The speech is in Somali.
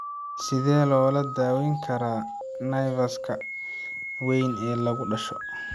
Sidee loo daweyn karaa nevus-ka weyn ee lagu dhasho?